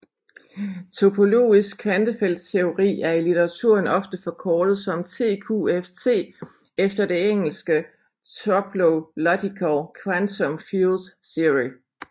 Topologisk kvantefeltteori er i litteraturen ofte forkortet som TQFT efter det engelske Toplological Quantum Field Theory